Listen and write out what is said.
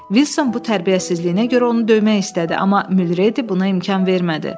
Wilson bu tərbiyəsizliyinə görə onu döymək istədi, amma Muldredi buna imkan vermədi.